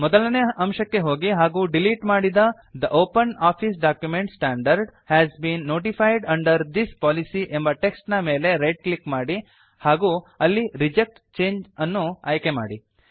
ಮೊದಲನೇ ಅಂಶಕ್ಕೆ ಹೋಗಿ ಹಾಗೂ ಡಿಲೀಟ್ ಮಾಡಿದ the OpenOffice document standard has been notified under this policy ಎಂಬ ಟೆಕ್ಸ್ಟ್ ನ ಮೇಲೆ ರೈಟ್ ಕ್ಲಿಕ್ ಮಾಡಿ ಹಾಗೂ ಅಲ್ಲಿ ರಿಜೆಕ್ಟ್ ಚಂಗೆ ಅನ್ನು ಆಯ್ಕೆ ಮಾಡಿ